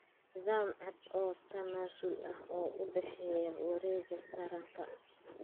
Nidaam cad oo tanaasul ah oo u dhexeeya wareegga taranka.